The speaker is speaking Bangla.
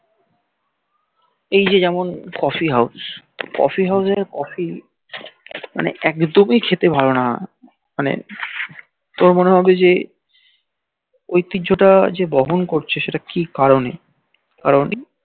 এই যে যেমন coffee house coffee house coffee মানে একদমি খেতে ভাল না মানে তোর মনে হবে যে ঐতিহ্য টাকা যে বহন করছে সেটা কি কারনে